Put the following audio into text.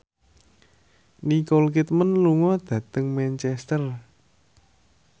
Nicole Kidman lunga dhateng Manchester